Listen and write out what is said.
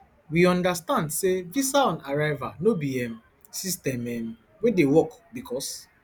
we understand say visaonarrival no be um system um wey dey work bicos